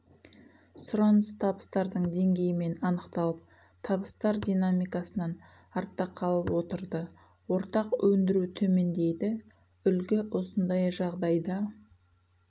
сұраныс табыстардың деңгейімен анықталып табыстар динамикасынан артта қалып отырды ортақ өндіру төмендейді үлгі осындай жағдайда